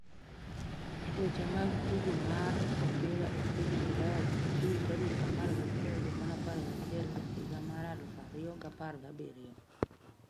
Weche mag tugo mar opira e piny Ulaya jumapil tarik 11.11.2017